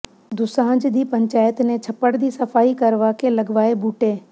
ਦੁਸਾਂਝ ਦੀ ਪੰਚਾਇਤ ਨੇ ਛੱਪੜ ਦੀ ਸਫ਼ਾਈ ਕਰਵਾ ਕੇ ਲਗਵਾਏ ਬੂਟੇ